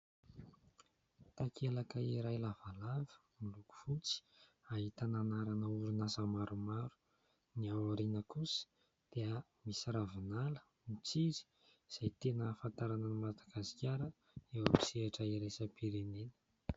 Takelaka iray lavalava miloko fotsy, ahitana anarana orinasa maromaro. Ny ao aoriana kosa dia misy ravinala mitsiry izay tena ahafantarana an'i Madagasikara eo amin'ny sehatra iraisam-pirenena.